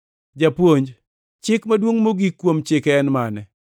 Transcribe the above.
“Japuonj, chik maduongʼ mogik kuom Chike en mane?”